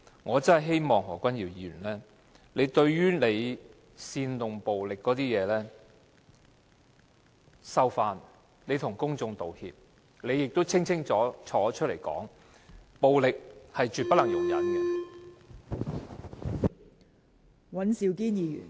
我真的希望何君堯議員收回煽動暴力的言論，向公眾道歉，他應要站出來清楚作出交代，暴力是絕不能容忍的。